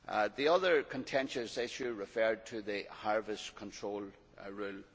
The other contentious issue referred to the Harvest Control Rule.